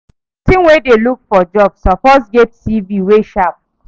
Pesin wey dey look for job suppose get CV wey sharp